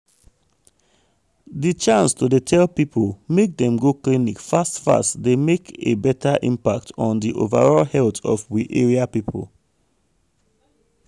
di chance to dey tell people make dem go clinic fast fast dey make a beta impact on di overall health of we area people.